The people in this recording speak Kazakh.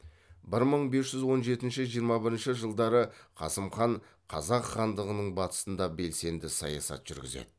бір мың бес жүз он жетінші жиырма бірінші жылдары қасым хан қазақ хандығының батысында белсенді саясат жүргізеді